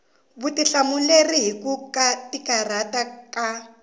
vutihlamuleri hi ku karhateka ka